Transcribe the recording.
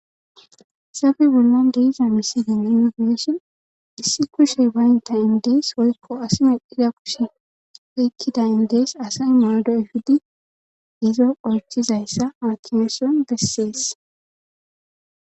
Sofi bollon diisa misidin yunifeshon issi kushey baynta indees woykko asi meddida kushe eykkida indees asay modo ifidi izo oychizayssa maatiweson bessees.